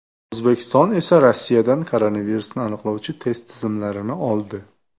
O‘zbekiston esa Rossiyadan koronavirusni aniqlovchi test tizimlarini oldi .